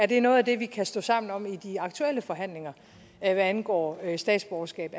det noget af det vi kan stå sammen om i de aktuelle forhandlinger hvad angår statsborgerskab